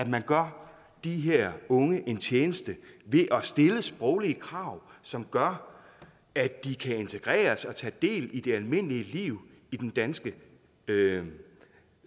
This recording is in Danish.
man gør de her unge en tjeneste ved at stille sproglige krav som gør at de kan integreres og tage del i det almindelige liv i den danske